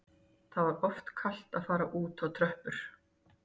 Það var of kalt til að fara út á tröppur